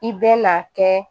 I bɛ na kɛ